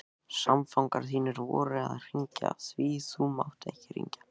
Samfangar þínir voru að hringja, því þú mátt ekki hringja.